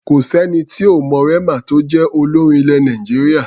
Kò sẹ́ni tí ò mọ Rema tó jẹ́ olórin ilẹ̀ Nàìjíríà.